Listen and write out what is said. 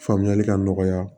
Faamuyali ka nɔgɔya